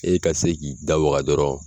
E ka se k'i da waga dɔrɔn